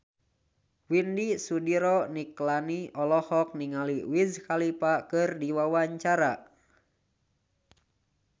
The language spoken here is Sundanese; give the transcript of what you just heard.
Widy Soediro Nichlany olohok ningali Wiz Khalifa keur diwawancara